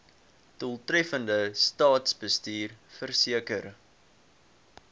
doeltreffende staatsbestuur verseker